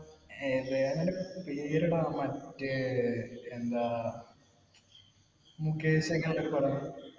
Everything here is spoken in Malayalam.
വേറെ അതിന്‍റെ പെരെടാ മറ്റേ എന്താ? മുകേഷ് ഒക്കെയുള്ള ഒരു പടം.